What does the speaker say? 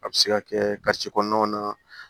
A bɛ se ka kɛ kɔnɔnaw na